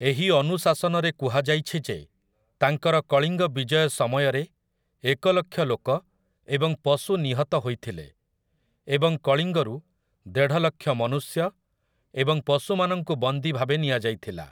ଏହି ଅନୁଶାସନରେ କୁହାଯାଇଛି ଯେ ତାଙ୍କର କଳିଙ୍ଗ ବିଜୟ ସମୟରେ ଏକଲକ୍ଷ ଲୋକ ଏବଂ ପଶୁ ନିହତ ହୋଇଥିଲେ, ଏବଂ କଳିଙ୍ଗରୁ ଦେଢ଼ଲକ୍ଷ ମନୁଷ୍ୟ ଏବଂ ପଶୁମାନଙ୍କୁ ବନ୍ଦୀ ଭାବେ ନିଆଯାଇଥିଲା ।